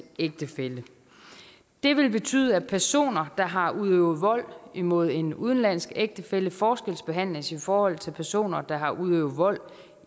ægtefælle det vil betyde at personer der har udøvet vold mod en udenlandsk ægtefælle forskelsbehandles i forhold til personer der har udøvet vold